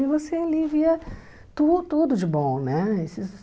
E você ali via tu tudo de bom, né? Esses